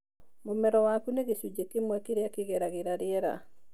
mũmero waku nĩ gĩcunjĩ kĩmwe kĩrĩa kĩngeragĩra riera.